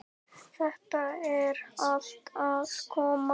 Þetta er allt að koma.